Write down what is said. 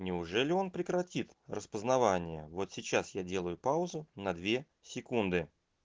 неужели он прекратит распознавание вот сейчас я делаю паузу на две секунды